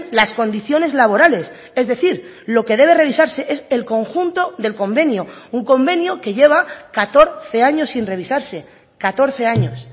las condiciones laborales es decir lo que debe revisarse es el conjunto del convenio un convenio que lleva catorce años sin revisarse catorce años